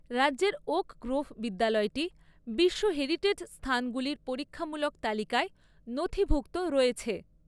রাজ্যের Oak Grove বিদ্যালয়টি বিশ্ব হেরিটেজ স্থানগুলির পরীক্ষামূলক তালিকায় নথিভুক্ত রয়েছে।